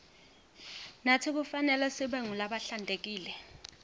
natsi kufanelesibe ngulabahlantekile